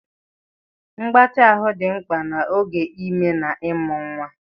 Mgbatị ahụ dị mkpa n'oge ime na ịmụ nwa.